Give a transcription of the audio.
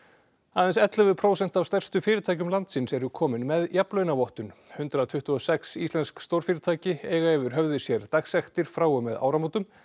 aðeins ellefu prósent af stærstu fyrirtækjum landsins eru komin með jafnlaunavottun hundrað tuttugu og sex íslensk stórfyrirtæki eiga yfir höfði sér dagsektir frá og með áramótum